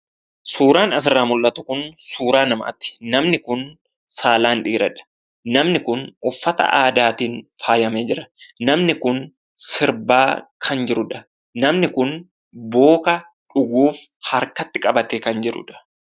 Suuraan asirraa mul'atu kun suuraa namaati. Namni kun saalaan dhiiradha. Namni kun uffata aadaatiin faayame jira. Namni kun sirbaa kan jirudha. Namni kun booka dhuguuf harkatti qabatee kan jirudha.